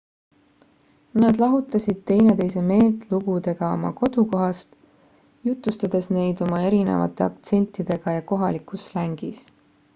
nad lahutasid teineteise meelt lugudega oma kodukohast jutustades neid oma erinevate aktsentidega ja kohalikus slängis